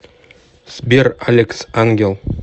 сбер алекс ангел